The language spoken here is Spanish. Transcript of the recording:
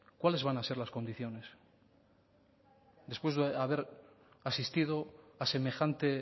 cuáles van a ser las condiciones después de haber asistido a semejante